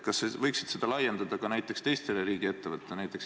Kas sa võiksid seda laiendada ka teistele riigiettevõtetele?